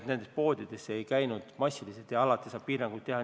Nendes poodides ei käidud massiliselt ja alati saab piiranguid seada.